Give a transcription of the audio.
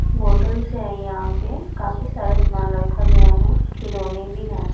Bottles हैं यहां पे काफी सारा सामान रखा गया है खिलौने भी हैं।